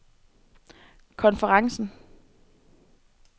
konferencen